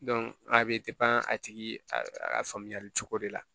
a bɛ a tigi a faamuyali cogo de la